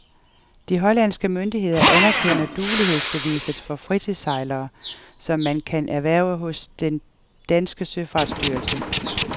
De hollandske myndigheder anerkender duelighedsbeviset for fritidssejlere, som man kan erhverve hos den danske søfartsstyrelse.